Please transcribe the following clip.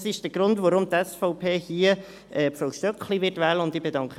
Das ist der Grund, weshalb die SVP hier Frau Stöckli wählen wird.